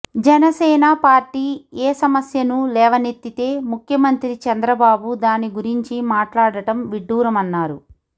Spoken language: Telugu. జనసేన పార్టీ ఏ సమస్యను లేవనెత్తితే ముఖ్యమంత్రి చంద్రబాబు దాని గురించి మాట్లాడటం విడ్డూరమన్నారు